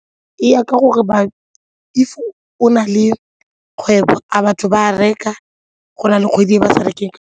E ya ka gore if o na le kgwebo a batho ba reka go na le kgwedi e ba sa rekeng.